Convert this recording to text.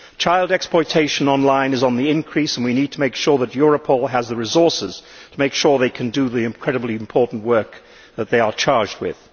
Child exploitation online is on the increase and we need to make sure that Europol has the resources to ensure that it can do the incredibly important work that it is charged with.